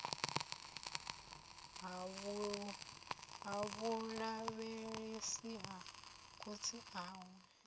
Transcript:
ha vhulavhelesi ha khotsi awe